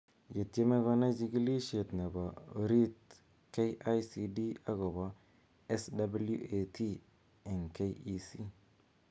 Ye tiemei koai chikilishet nebo oriit KICD akobo SWAT eng KEC